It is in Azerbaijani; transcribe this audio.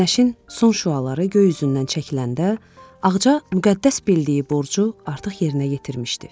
Günəşin son şüaları göy üzündən çəkiləndə, Ağca müqəddəs bildiyi borcu artıq yerinə yetirmişdi.